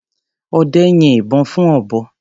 Ọdẹ́ yin ìbọn fún ọ̀bọ.